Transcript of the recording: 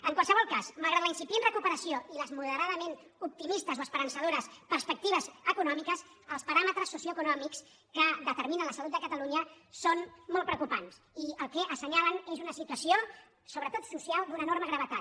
en qualsevol cas malgrat la incipient recuperació i les moderadament optimistes o esperançadores pers·pectives econòmiques els paràmetres socioeconòmics que determinen la salut de catalunya són molt preocu·pants i el que assenyalen és una situació sobretot so·cial d’una enorme gravetat